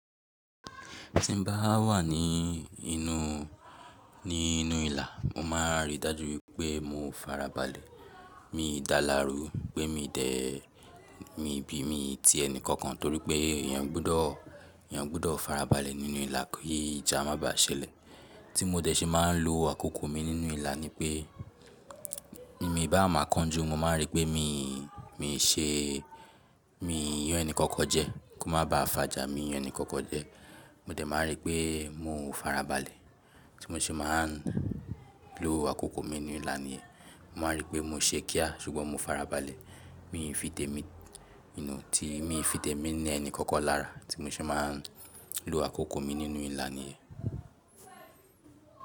Tí n bá wà ní inú, ní inú ìlà, mo má ń rí dájú wípé mo ò farabalẹ̀. Mii dalaru, pe mi de e, mi bi, mi ti ẹni kankan torípé èyàn gbudọ, èyàn gbudọ farabalẹ̀ nínú ìlà kí ìjà má bá ṣẹlẹ̀. Tí mo dẹ̀ ṣe má ń lò àkókò mi nínú ìlà nípé, mi i ba ma kan ju mo ma ri pé mi, mi se, mi yàn ẹni kankan jẹ, kó má bá fa ìjà, mi yàn ẹni kankan jẹ. Mo dẹ̀ má rí pé mo ò farabalẹ̀. Tí mo ṣe má ń lò àkókò mi nínú ìlà nìyẹn, mo ma rí pé mo ṣe kí a, ṣùgbọ́n mo farabalẹ̀. Mi n fi te mi, i na, ti, mi fi temi ni ẹni kankan lára, tí mo ṣe má ń lò àkókò mi nínú ìlà nìyẹn.